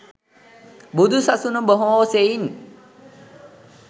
බුදු සසුන බොහෝ සෙයින්